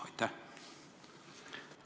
Aitäh!